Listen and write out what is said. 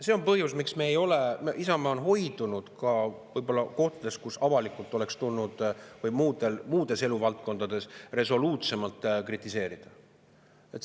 See on põhjus, miks Isamaa on hoidunud võib-olla kohtades, kus oleks tulnud avalikult – seda ka muudes eluvaldkondades – resoluutsemalt kritiseerida, seda tegemast.